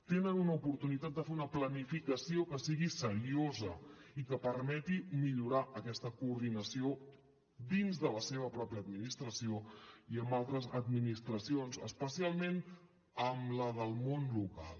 tenen una oportunitat de fer una planificació que sigui seriosa i que permeti millorar aquesta coordinació dins de la seva pròpia administració i amb altres administracions especialment amb la del món local